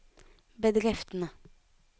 bedriftene